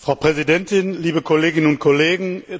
Frau Präsidentin, liebe Kolleginnen und Kollegen!